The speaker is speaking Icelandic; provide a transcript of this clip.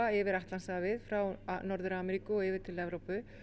yfir Atlantshafið frá Norður Ameríku og yfir til Evrópu